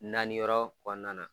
Naani yɔrɔ kɔnɔna na.